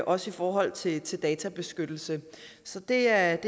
også i forhold til databeskyttelse så det er